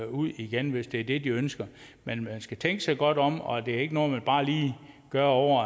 ud igen hvis det er det de ønsker men man skal tænke sig godt om det er ikke noget man bare lige gør over